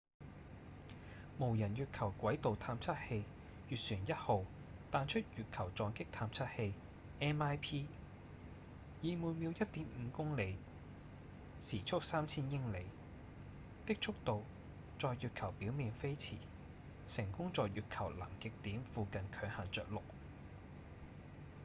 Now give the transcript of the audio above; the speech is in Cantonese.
無人月球軌道探測器月船1號彈出月球撞擊探測器 mip 以每秒 1.5 公里時速3000英里的速度在月球表面飛馳成功在月球南極點附近強行著陸